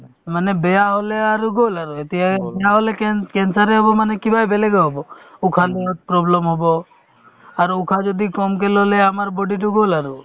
মানে বেয়া হ'লে আৰু গ'ল আৰু এতিয়ায়ে না হ'লে কেন~ cancer য়ে হ'ব মানে কিবাই বেলেগে হ'ব উশাহ লোৱাত problem হ'ব আৰু উশাহ যদি কমকে ল'লে আমাৰ body তো গ'ল আৰু